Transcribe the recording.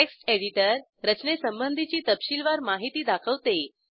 text editor रचनेसंबंधीची तपशीलवार माहिती दाखवतो